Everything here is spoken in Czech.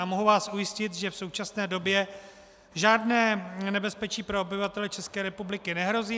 A mohu vás ujistit, že v současné době žádné nebezpečí pro obyvatele České republiky nehrozí.